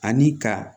Ani ka